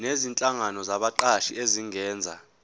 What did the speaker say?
nezinhlangano zabaqashi zingenza